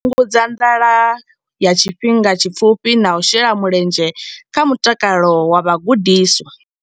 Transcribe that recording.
Fhungudza nḓala ya tshifhinga tshipfufhi na u shela mulenzhe kha mutakalo wa vhagudiswa.